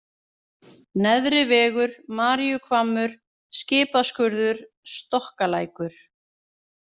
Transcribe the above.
Neðri-Vegur, Maríuhvammur, Skipaskurður, Stokkalækur